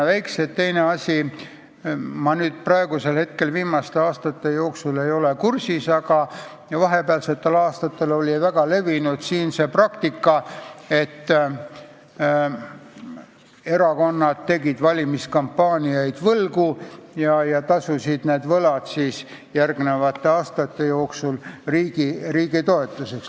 Viimaste aastate jooksul ei ole ma sellega kursis olnud, aga vahepealsetel aastatel oli siin väga levinud praktika, et erakonnad tegid valimiskampaania võlgu ja tasusid võlad järgmiste aastate jooksul riigi toetusest.